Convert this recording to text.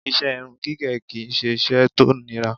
Ìṣe irun gígẹ̀ kí i ṣe iṣẹ́ tó nira